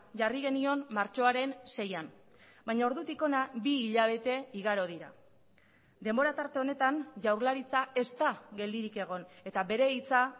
jarri genion martxoaren seian baina ordutik hona bi hilabete igaro dira denbora tarte honetan jaurlaritza ez da geldirik egon eta bere hitza